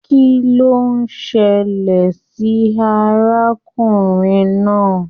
Kín ló ṣẹlẹ sí arákùnrin náà?